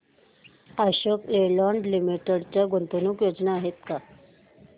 अशोक लेलँड लिमिटेड च्या गुंतवणूक योजना आहेत का